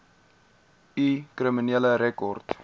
u kriminele rekord